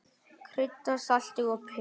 Kryddað með salti og pipar.